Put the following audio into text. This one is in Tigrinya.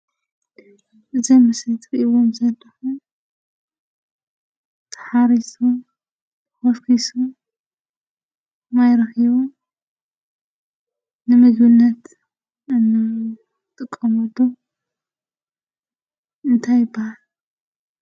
እዚ ምስሊ ትሪእዎም ዘለኩም ተሓሪሱ ተከስኩሱ ማይ ረኪቡ ንምግብነት እንጥቀመሉ እንታይ ይበሃል?